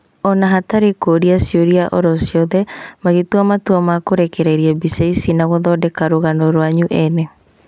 Ona hatarĩ kũrĩa cĩũria oro ciothe, mũgĩtua matua ma kũrekereria mbica ici na gũthondeka rũgano rwanyu ene